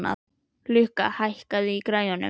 Lukka, hækkaðu í græjunum.